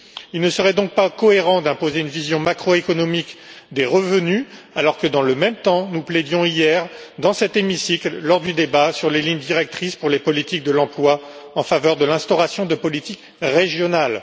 Il ne serait donc pas cohérent d'imposer une vision macroéconomique des revenus, alors que, dans le même temps, nous plaidions hier, dans cet hémicycle, lors du débat sur les lignes directrices pour les politiques de l'emploi, en faveur de l'instauration de politiques régionales.